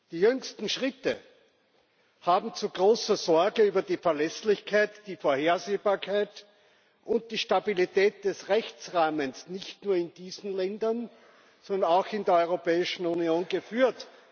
Die jüngsten Schritte haben zu großer Sorge über die Verlässlichkeit, die Vorhersehbarkeit und die Stabilität des Rechtsrahmens nicht nur in diesen Ländern, sondern auch in der Europäischen Union geführt.